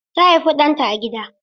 Ta haifi ɗanta a gida.